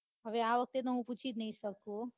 હવે તો આ વખતે તો હું પૂછી જ નઈ શકું.